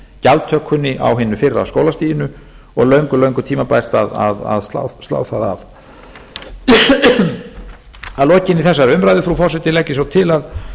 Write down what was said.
gjaldtökunni á hinu fyrra skólastiginu og löngu löngu tímabært að slá það af að lokinni þessari umræðu frú forseti legg ég svo til að að málinu